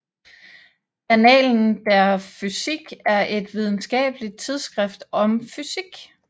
Annalen der Physik er et videnskabeligt tidsskrift om fysik